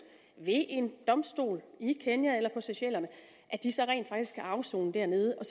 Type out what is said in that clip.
ved en domstol i kenya eller på seychellerne rent faktisk kan afsone dernede og